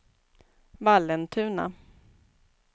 Vallentuna